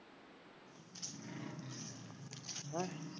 ਹੈਂ